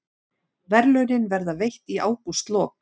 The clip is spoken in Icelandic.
Verðlaunin verða veitt í ágústlok